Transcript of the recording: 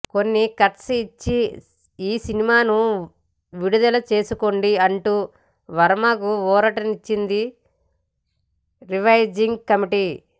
కొన్ని కట్స్ ఇచ్చి ఈ సినిమాను విడుదల చేసుకోండి అంటూ వర్మకు ఊరటనిచ్చింది రివైజింగ్ కమిటీ